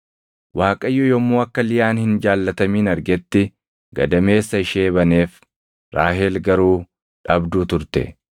Waaqayyo yommuu akka Liyaan hin jaallatamin argetti gadameessa ishee baneef; Raahel garuu dhabduu turte.